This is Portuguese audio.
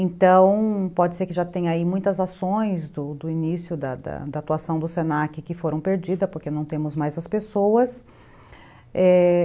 Então, pode ser que já tenha aí muitas ações do início da atuação do se na que que foram perdidas, porque não temos mais as pessoas.